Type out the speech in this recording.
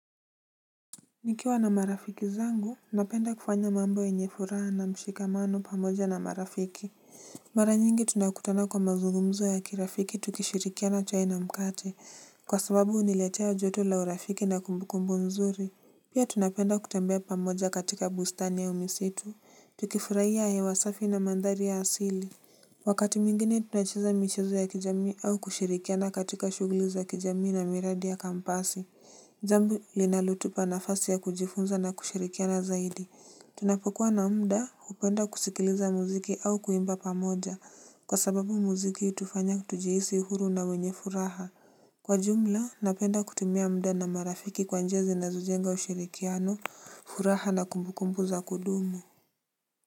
Nikiwa na marafiki zangu, napenda kufanya mambo yenye furaha na mshikamano pamoja na marafiki. Mara nyingi tunakutana kwa mazungumzo ya kirafiki tukishirikiana chai na mkate, kwa sababu huniletea joto la urafiki na kumbukumbu nzuri. Pia tunapenda kutembea pamoja katika bustani ya umisitu, tukifurahia hewa safi na mandhari ya asili. Wakati mwingine tunacheza michezo ya kijami au kushirikiana katika shughuli za kijami na miradi ya kampasi. Zambi linalotupa na fasi ya kujifunza na kushirikiana zaidi. Tunapo kuwa na mda hupenda kusikiliza muziki au kuimba pamoja kwa sababu muziki hutufanya tujihisi huru na wenye furaha. Kwa jumla, napenda kutimia mda na marafiki kwanjia zinazo jenga ushirikiano, furaha na kumbukumbu za kudumu.